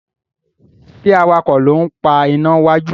ṣe awakọ̀ ló ń pá iná wájú?